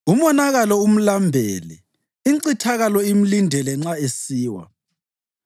Umonakalo umlambele; incithakalo imlindele nxa esiwa.